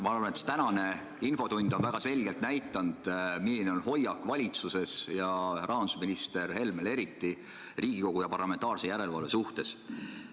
Ma arvan, et tänane infotund on väga selgelt näidanud, milline on valitsuse ja eriti rahandusminister Helme hoiak Riigikogu ja parlamentaarse järelevalve suhtes.